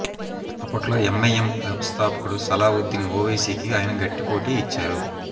అప్పట్లో M I M వ్యవస్థాపకుడు సలావుద్దీన్ ఒవైసీకి ఆయన గట్టిపోటీ ఇచ్చారు